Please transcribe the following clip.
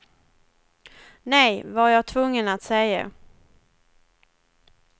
Nej, var jag tvungen att säga.